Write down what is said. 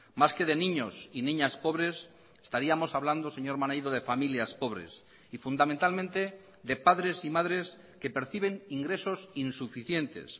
más que de niños y niñas pobres estaríamos hablando señor maneiro de familias pobres y fundamentalmente de padres y madres que perciben ingresos insuficientes